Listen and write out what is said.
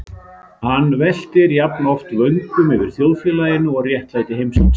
Hann veltir jafnoft vöngum yfir þjóðfélaginu og réttlæti heimsins.